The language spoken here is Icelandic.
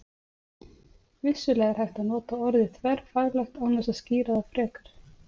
Vissulega er hægt að nota orðið þverfaglegt án þess að skýra það frekar.